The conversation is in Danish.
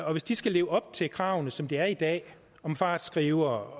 og hvis de skal leve op til kravene som de er i dag om fartskrivere